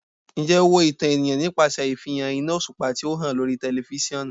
Njẹ o wo itan eniyan nipasẹ ifihan ina oṣupa ti o han lori tẹlifisiọnu?